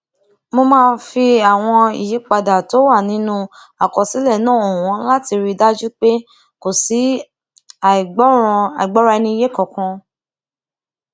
mo fi àwọn ìyípadà tó wà nínú àkọsílẹ náà hàn wón láti rí i dájú pé kò sí àìgbọraẹniyé kankan